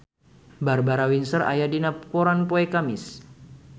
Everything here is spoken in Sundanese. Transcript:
Barbara Windsor aya dina koran poe Kemis